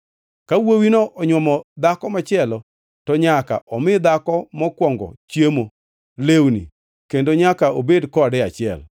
Ka wuowino onywomo dhako machielo, to nyaka omi dhako mokwongo chiemo, lewni kendo nyaka obed kode e achiel.